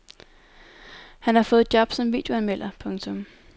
Han har fået job som videoanmelder. punktum